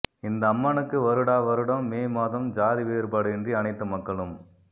இந்த அம்மனுக்கு வருடா வருடம் மே மாதம் சாதி வேறுபாடின்றி அனைத்து மக்களும்